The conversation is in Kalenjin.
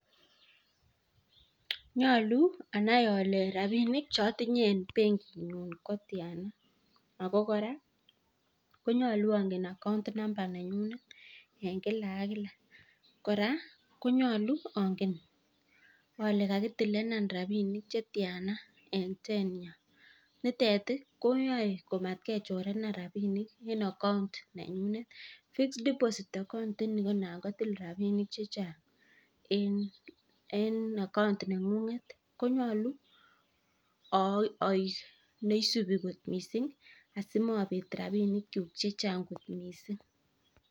Nyaluu anai ale rapinik che atinyei en benkiit nyuun ko tianaa ako kora angen [account number] kora konyaluu angen ale kakitilenaan rapinik che tyanaa en nitet ii koyae mat kechorenan rapinik en account nenyun [fixed deposit account] inii ko naan ko till rapinik che chaang en [account] nengunget konyaluu aeg neisupe koot missing asimabet rapisheek kyuuk missing.